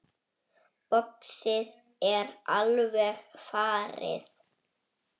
Boxið er alveg farið.